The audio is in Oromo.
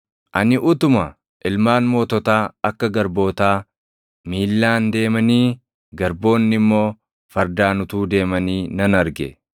Ani utuma ilmaan moototaa akka garbootaa miillaan deemanii garboonni immoo fardaan utuu deemanii nan arge.